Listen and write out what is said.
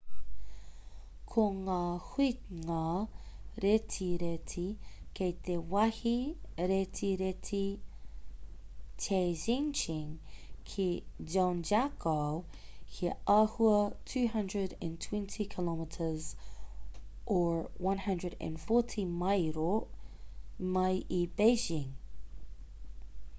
ko ngā huinga retireti kei te wāhi retireti taizicheng ki zhangjiakou he āhua 220 km 140 mairo mai i beijing